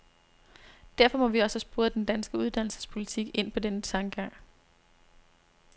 Derfor må vi også have sporet den danske uddannelsespolitik ind på denne tankegang.